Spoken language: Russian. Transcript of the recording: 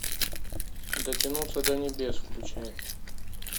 дотянуться до небес включай